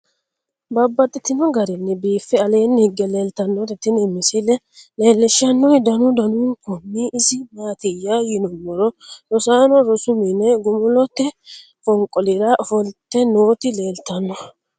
Babaxxittinno garinni biiffe aleenni hige leelittannotti tinni misile lelishshanori danu danunkunni isi maattiya yinummoro rosaanno rosu minne gumulotte fonqolira offolitte nootti leelittanno